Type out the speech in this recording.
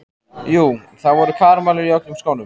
Jú, það voru karamellur í öllum skónum.